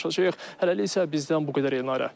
Hələlik isə bizdən bu qədər Elnarə.